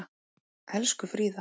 Elsku Fríða.